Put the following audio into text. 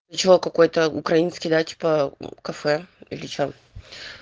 для чего какой-то украинский да типа кафе или что